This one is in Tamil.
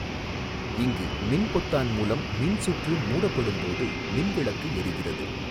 இங்கு மின்பொத்தான் மூலம் மின்சுற்று மூடப்படும்போது மின்விளக்கு எாிகிறது.